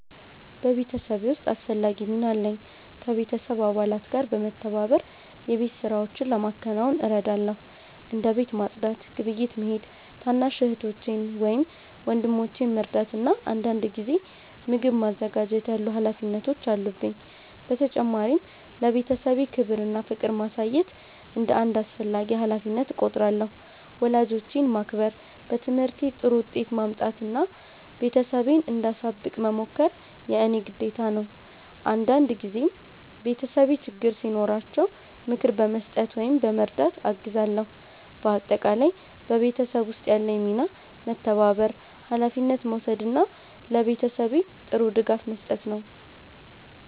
በቤተሰቤ ውስጥ አስፈላጊ ሚና አለኝ። ከቤተሰብ አባላት ጋር በመተባበር የቤት ሥራዎችን ለማከናወን እረዳለሁ። እንደ ቤት ማጽዳት፣ ግብይት መሄድ፣ ታናሽ እህቶቼን ወይም ወንድሞቼን መርዳት እና አንዳንድ ጊዜ ምግብ ማዘጋጀት ያሉ ሀላፊነቶች አሉብኝ። በተጨማሪም ለቤተሰቤ ክብር እና ፍቅር ማሳየት እንደ አንድ አስፈላጊ ሀላፊነት እቆጥራለሁ። ወላጆቼን ማክበር፣ በትምህርቴ ጥሩ ውጤት ማምጣት እና ቤተሰቤን እንዳሳብቅ መሞከር የእኔ ግዴታ ነው። አንዳንድ ጊዜም ቤተሰቤ ችግር ሲኖራቸው ምክር በመስጠት ወይም በመርዳት አግዛለሁ። በአጠቃላይ በቤተሰብ ውስጥ ያለኝ ሚና መተባበር፣ ሀላፊነት መውሰድ እና ለቤተሰቤ ጥሩ ድጋፍ መስጠት ነው።